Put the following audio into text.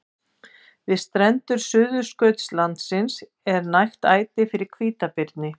Þeir höfðu verið ráðgerðir í Helsinki og London.